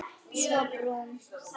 Svo brún.